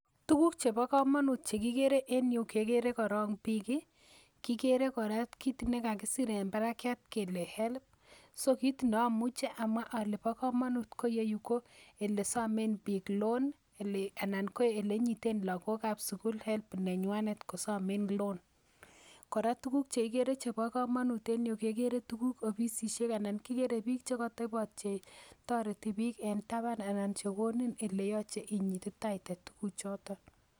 Tukuk chebo komonut chekikere en yu kekere korong biiki kikere kora kiit nekakisir en barakyat kele help so kiit ne omuche amwa ole bo komonut ko iyeyu ko ele somen biik loan anan ko elenyiten look ab sukul help nenywanet kosomen loan, kora tukuk chekikere chebo komonut en yuu kekere tukuk obisisiek anan kikere biik chekotobot che toreti biik en taban anan chekonin ele yoche inyititaite tukuk choton.